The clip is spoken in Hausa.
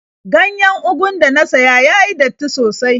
Ganyen ugun da na siya ya yi datti sosai.